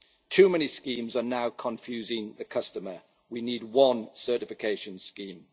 Too many schemes are now confusing the customer. We need one certification scheme.